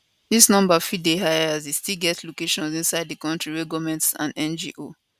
dis number fit dey higher as e still get locations inside di kontri wey goment and ngo